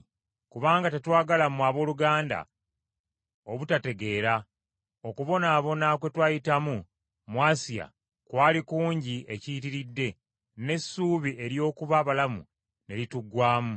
Kubanga tetwagala mmwe abooluganda obutategeera, okubonaabona kwe twayitamu mu Asiya kwali kungi ekiyitiridde n’essuubi ery’okuba abalamu ne lituggwaamu.